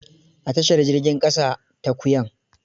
A tashar jirgin ƙasa ta Kuyan.